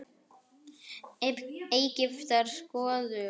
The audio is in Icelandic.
Egyptar skoruðu að vild.